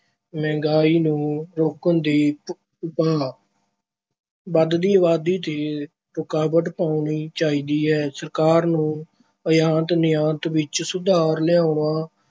ਮਹਿੰਗਾਈ ਨੂੰ ਰੋਕਣ ਦੇ ਉਪਾਅ- ਵਧਦੀ ਅਬਾਦੀ ’ਤੇ ਰੁਕਾਵਟ ਪਾਉਣੀ ਚਾਹੀਦੀ ਹੈ। ਸਰਕਾਰ ਨੂੰ ਆਯਾਤ-ਨਿਰਯਾਤ ਵਿੱਚ ਸੁਧਾਰ ਲਿਆਉਣਾ,